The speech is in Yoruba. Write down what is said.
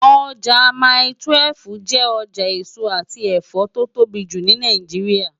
Ojá mái-túwèf jè òjá esó ati ẹfọ tó tóbi jú ni Náijiriá